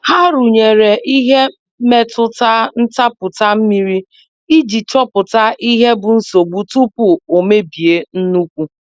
Ha rụnyere ihe mmetụta ntapụta mmiri iji chopụta ihe bụ nsogbu tupu o mebie nnukwu.